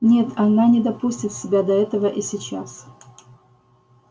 нет она не допустит себя до этого и сейчас